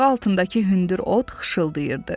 Ayağı altındakı hündür ot xışıltıyırdı.